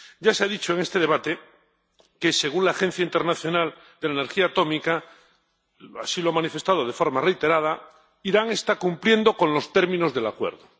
Ya se ha dicho en este debate que, según el Organismo Internacional de Energía Atómica, —así lo ha manifestado de forma reiterada— Irán está cumpliendo los términos del acuerdo.